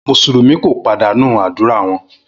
Musulumi ko padanu adura wọn